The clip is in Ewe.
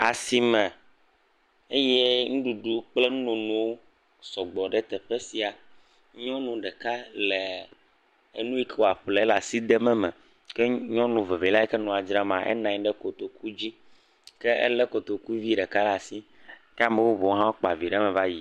Asime eye nuɖuɖu kple nunonowo sɔgbɔ ɖe teƒe sia. Nyɔnu ɖeka lɛɛ enu yi ke wòaƒle ele asi dem eme. Ke nyɔnu vevelia yi ke nua dzramaa, enɔ anyi ɖe kotokudzi. Ke elé kotokuvi ɖeka ɖe asi. Ame bubuwo hã kpa vi ɖe eme va yina.